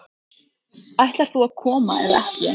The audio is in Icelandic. Ætlar þú að koma eða ekki?